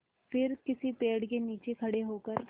फिर किसी पेड़ के नीचे खड़े होकर